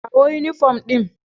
Kawo yunifom ɗin.